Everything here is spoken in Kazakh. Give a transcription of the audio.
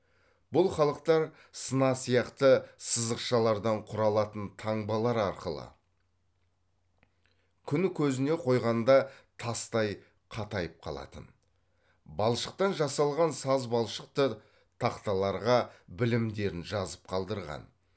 бұл халықтар сына сияқты сызықшалардан құралатын таңбалар арқылы күн көзіне қойғанда тастай қатайып қалатын балшықтан жасалған саз балшықты тақталарға білімдерін жазып қалдырған